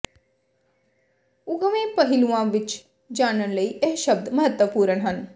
ੁਕਵੇਂ ਪਹਿਲੂਆਂ ਵਿੱਚ ਜਾਣਨ ਲਈ ਇਹ ਸ਼ਬਦ ਮਹੱਤਵਪੂਰਣ ਹਨ